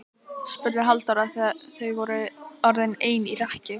spurði Halldóra þegar þau voru orðin ein í rekkju.